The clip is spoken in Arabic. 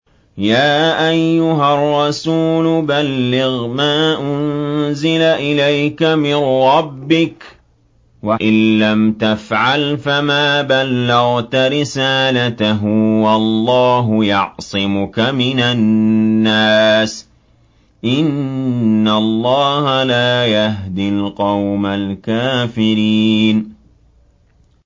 ۞ يَا أَيُّهَا الرَّسُولُ بَلِّغْ مَا أُنزِلَ إِلَيْكَ مِن رَّبِّكَ ۖ وَإِن لَّمْ تَفْعَلْ فَمَا بَلَّغْتَ رِسَالَتَهُ ۚ وَاللَّهُ يَعْصِمُكَ مِنَ النَّاسِ ۗ إِنَّ اللَّهَ لَا يَهْدِي الْقَوْمَ الْكَافِرِينَ